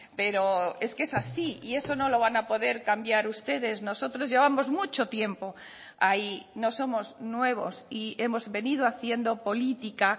pero es que es así y eso no lo van a poder cambiar ustedes nosotros llevamos mucho tiempo ahí no somos nuevos y hemos venido haciendo política